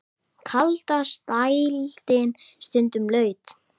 Kallast dældin stundum laut.